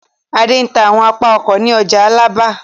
Adé ń ta àwọn apá ọkọ̀ ní ọjà Alábà.